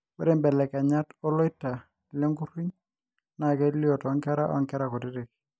ore belekenyat oloita le nkuriny naa kelio too nkera oo nkera kutitik